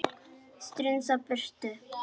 Strunsa burtu.